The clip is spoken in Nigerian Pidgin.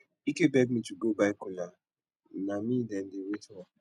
ike beg me to go buy kola na me dem dey wait for